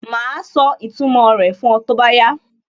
Màá sọ ìtumò rẹ̀ fún ọ tó bá yá